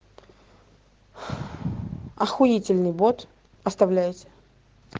ахуительный бот оставляйте